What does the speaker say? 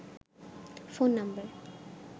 phone number